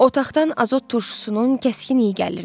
Otaqdan azot turşusunun kəskin iyi gəlirdi.